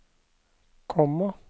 komma